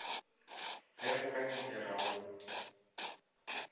ge go ka nyakega go